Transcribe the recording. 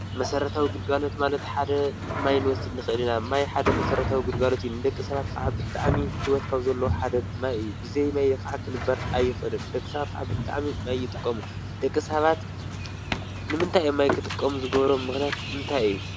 መሰረታዊ ግልጋሎት ማለት ሓደ ማይ ንወስድ ንኽእል ኢና፡፡ ማይ ሓደ መሰረታዊ ግልጋሎት እዩ፡፡ ንደቂ ሰባት ከዓ ብጣዕሚ ሂወት ካብዘለዎ ሓደ ማይ እዩ፡፡ ብዘይማይ ከዓ ክንበር ኣይኽእልን፡፡ ደቂ ሰባት ብጣዕሚ ማይ ይጥቀሙ:: ደቂ ሰባት ንምንታይ እዮም ማይ ክጥቀሙ ዝገብሮም ምኽንያት እንታይ እዩ?